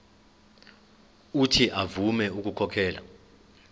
uuthi avume ukukhokhela